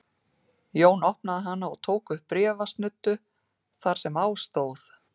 Jón opnaði hana og tók upp bréfsnuddu þar sem á stóð